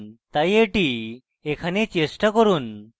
তাই এটি এখানে চেষ্টা করুন